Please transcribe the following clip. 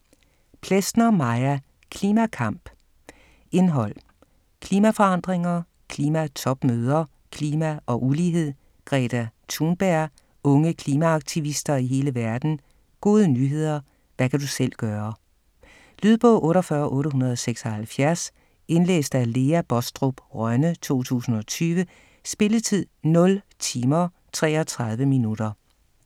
Plesner, Maja: Klimakamp Indhold: Klimaforandringer ; Klimatopmøder ; Klima og ulighed ; Greta Thunberg ; Unge klimaaktivister i hele verden ; Gode nyheder ; Hvad kan du selv gøre? Lydbog 48876 Indlæst af Lea Baastrup Rønne, 2020. Spilletid: 0 timer, 33 minutter.